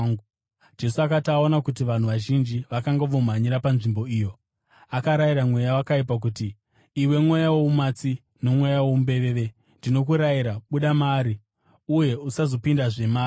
Jesu akati aona kuti vanhu vazhinji vakanga vomhanyira panzvimbo iyo, akarayira mweya wakaipa akati, “Iwe mweya woumatsi nomweya woumbeveve, ndinokurayira, buda maari, uye usazopindazve maari.”